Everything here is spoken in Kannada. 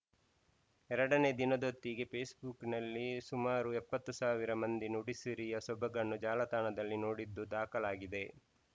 ಎರಡನೇ ದಿನದೊತ್ತಿಗೆ ಫೇಸ್‌ಬುಕ್‌ನಲ್ಲಿ ಸುಮಾರು ಎಪ್ಪತ್ತು ಸಾವಿರ ಮಂದಿ ನುಡಿಸಿರಿಯ ಸೊಬಗನ್ನು ಜಾಲತಾಣದಲ್ಲಿ ನೋಡಿದ್ದು ದಾಖಲಾಗಿದೆ